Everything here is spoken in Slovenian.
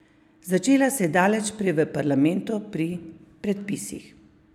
Začela se je daleč prej v parlamentu, pri predpisih.